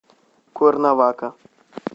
куэрнавака